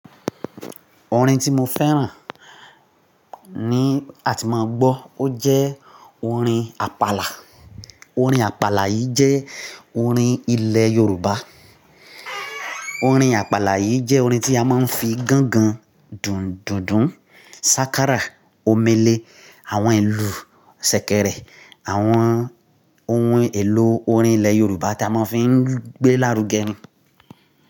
Orin tí mo fẹ́ràn ni a ti máa ń gbọ́. Ó jẹ́ orin Àpàlà. Orin Àpàlà yìí jẹ́ orin ilẹ̀ Yorùbá. Orin Àpàlà yìí jẹ́ orin tí a máa ń fi gángan, dundundun, sákárà, omele, àwọn ìlù ṣẹ̀kẹ̀rẹ̀, àwọn ohun èlò orin ilẹ̀ Yorùbá tí a máa ń fi gbé lárùgẹ.